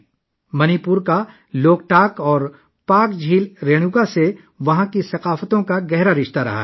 منی پور کی ثقافتوں کا لوکتک اور مقدس جھیل رینوکا سے گہرا تعلق ہے